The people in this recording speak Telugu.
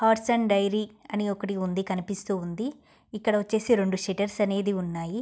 ఆర్ట్స్ అండ్ డైరీ అని ఒకటి ఉంది కనిపిస్తూఉంది. ఇక్కడ వచ్చేసి రెండు సెటర్స్ అనేది ఉన్నాయి.